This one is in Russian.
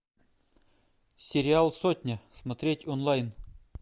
сериал сотня смотреть онлайн